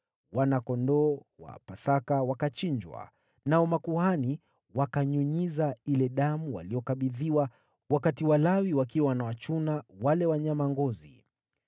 Wana-kondoo wa Pasaka wakachinjwa, nao makuhani wakanyunyiza ile damu waliyokabidhiwa, wakati Walawi wakiwa wanawachuna wale wanyama ngozi.